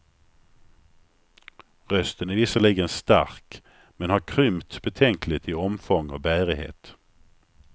Rösten är visserligen stark men har krympt betänkligt i omfång och bärighet.